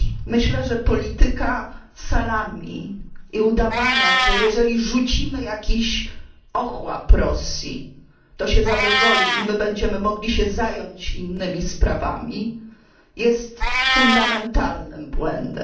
Myślę, że polityka salami i udawania, że jeżeli rzucimy jakiś ochłap Rosji, to się zadowoli i my będziemy mogli się zająć innymi sprawami, jest fundamentalnym błędem.